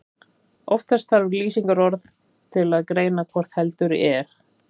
Oftast þarf lýsingarorð til að greina hvort heldur er.